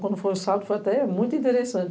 Quando foi o sábado, foi até muito interessante.